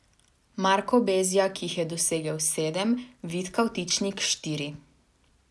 Marko Bezjak jih je dosegel sedem, Vid Kavtičnik štiri.